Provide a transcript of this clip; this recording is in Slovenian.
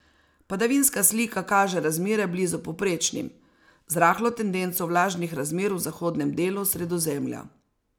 Padavinska slika kaže razmere blizu povprečnim, z rahlo tendenco vlažnih razmer v zahodnem delu Sredozemlja.